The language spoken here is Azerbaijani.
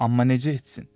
Amma necə etsin?